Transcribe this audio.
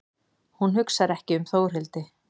Hún hugsar ekki um Þórhildi.